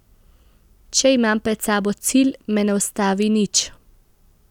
Če imam pred sabo cilj, me ne ustavi nič.